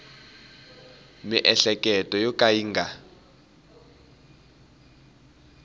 miehleketo yo ka yi nga